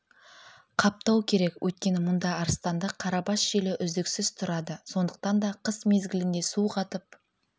қаптау керек өйткені мұнда арыстанды қарабас желі үздіксіз тұрады сондықтан да қыс мезгілінде су қатып